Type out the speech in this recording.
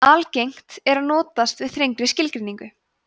algengt er að notast við þrengri skilgreiningu